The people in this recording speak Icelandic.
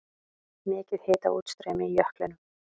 Mikið hitaútstreymi í jöklinum